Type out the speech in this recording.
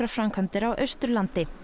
framkvæmdir á Austurlandi